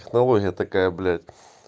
технология такая блять